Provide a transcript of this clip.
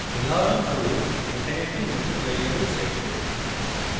উদাহরণস্বরূপ এখানে একটি নতুন ভ্যারিয়েবল set করি